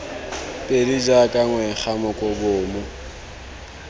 pedi jaaka ngwega moko bomo